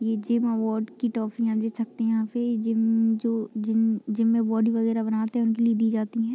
ये gym award की ट्रॉफियां दिख सकती हैं यहाँ पे जिम जो जिम जिम में बॉडी वगैरा बनाते हैं उनके लिए दी जाती है।